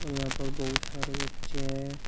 और यहां पर बहुत सारे बच्चे है।